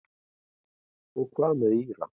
Og hvað með Íra?